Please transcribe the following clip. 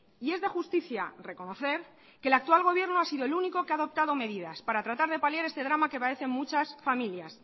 y es de justicia reconocer que el actual gobierno ha sido el único que ha adoptado medidas para tratar de paliar este drama que padecen muchas familias